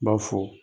B'a fɔ